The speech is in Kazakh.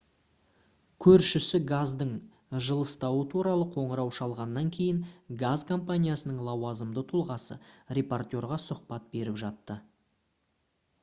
көршісі газдың жылыстауы туралы қоңырау шалғаннан кейін газ компаниясының лауазымды тұлғасы репортерға сұхбат беріп жатты